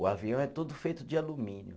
O avião é todo feito de alumínio.